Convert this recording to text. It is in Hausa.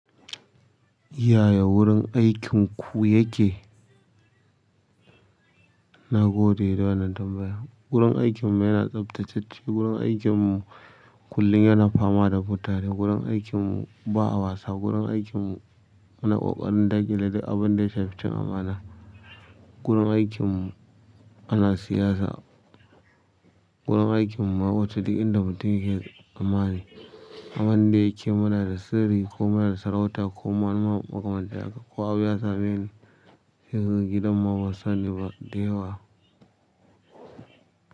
Yaya wurin aikin ku yake? Na gode da wannan tambaya, gurin aikin mu ya na tsabtacecen, gurin aikin mu kullum yana fama da mutane, gurin aikin mu ba a wasa, gurin aikin mu muna ƙoƙari yin duk abun da kamata. Gurin aikin mu ana siyasa wurin aikin mu ma ya wuce duk yanda mutum ke tsamani. Abin da yake mana da sirri ko muna da sarauta ko manene ko kuma ko abu ya same sai ka ga gidan ma ba sani ba da yawa.